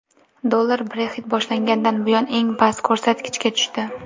Dollar Brexit boshlangandan buyon eng past ko‘rsatkichga tushdi.